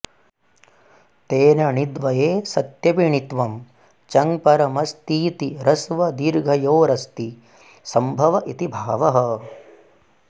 तेन णिद्वये सत्यपि णित्वं चङ्परमस्तीति ह्यस्वदीर्घयोरस्ति संभव इति भावः